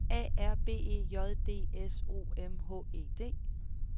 A R B E J D S O M H E D